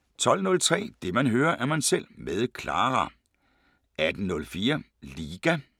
12:03: Det man hører, er man selv med Clara 18:04: Liga